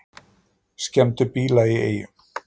Skemmdu bíla í Eyjum